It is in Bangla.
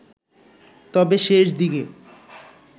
তবে শেষ দিকে